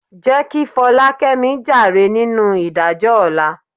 Jẹ́ kí Fọlákẹ́mi jàre nínú ìdájọ́ ọ̀la.